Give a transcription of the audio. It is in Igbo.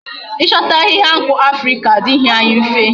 I chota ahihia nku Africa adighi anyi mfe